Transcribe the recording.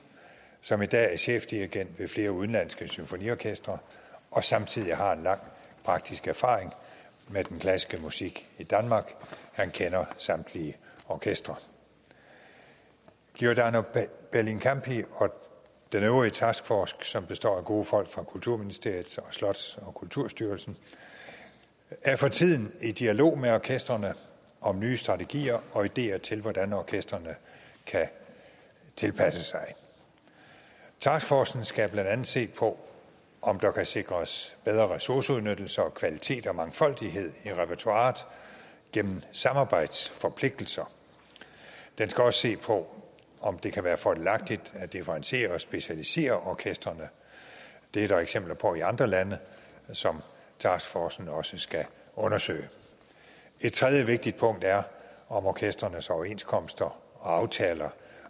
som i dag er chefdirigent ved flere udenlandske symfoniorkestre og samtidig har en lang praktisk erfaring med den klassiske musik i danmark han kender samtlige orkestre giordano bellincampi og den øvrige taskforce som består af gode folk fra kulturministeriet og slots og kulturstyrelsen er for tiden i dialog med orkestrene om nye strategier og ideer til hvordan orkestrene kan tilpasse sig taskforcen skal blandt andet se på om der kan sikres bedre ressourceudnyttelse og kvalitet samt mere mangfoldighed i repertoiret gennem samarbejdsforpligtelser den skal også se på om det kan være fordelagtigt at differentiere og specialisere orkestrene det er der eksempler på i andre lande som taskforcen også skal undersøge et tredje vigtigt punkt er om orkestrenes overenskomster og aftaler